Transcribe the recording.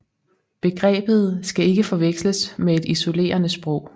Begrebet skal ikke forveksles med et isolerende sprog